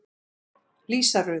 Lísa Rut.